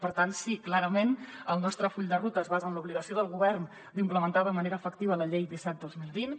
per tant sí clarament el nostre full de ruta es basa en l’obligació del govern d’implementar de manera efectiva la llei disset dos mil vint